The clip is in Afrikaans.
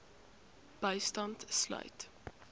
bystand sluit